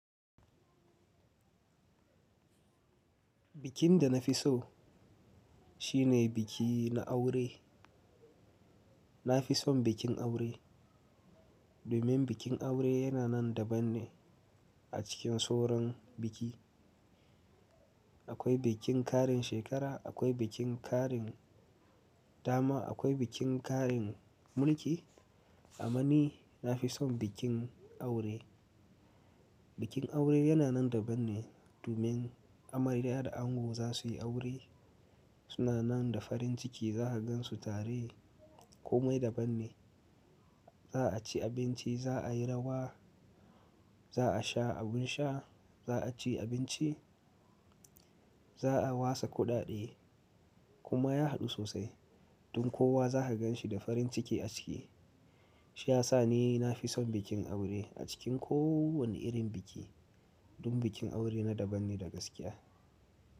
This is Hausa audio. Bikin da na fi so shine biki na aure. Na fi son bikin aure domin bikin aure yana nan daban ne a cikin sauran biki. Akwai bikin ƙarin shekara, akwai bikin ƙarin dama, akwai bikin ƙarin mulki. Amma ni na fi son bikin aure. Bikin aure yana nan daban ne domin amarya da ango za su yi aure. Su na nan da farin ciki, za ka gansu tare komai daban ne. Za a ci abinci, za a yi rawa, za a sha abin sha, za a ci abinci, za a watsa kudade kuma ya haɗu sosai. Domin kowa za ka ganshi da farin ciki a ciki. Shi ya sa ni na fi son bikin aure a cikin kowane irin biki. Domin bikin aure na daban ne gaskiya.